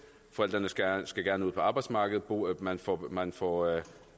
forældrene skal skal gerne ud på arbejdsmarkedet man får man får